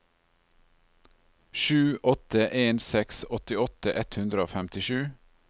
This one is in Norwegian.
sju åtte en seks åttiåtte ett hundre og femtisju